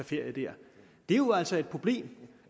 ferie der det er jo altså et problem